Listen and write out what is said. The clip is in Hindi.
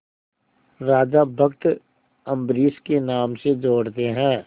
राजा भक्त अम्बरीश के नाम से जोड़ते हैं